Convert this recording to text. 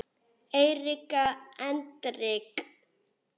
Erika Hendrik